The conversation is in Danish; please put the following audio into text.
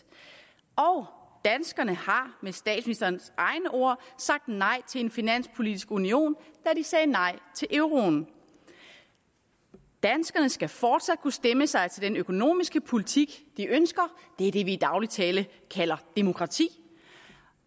og danskerne har med statsministerens egne ord sagt nej til en finanspolitisk union da de sagde nej til euroen danskerne skal fortsat kunne stemme sig til den økonomiske politik de ønsker det er det vi i daglig tale kalder demokrati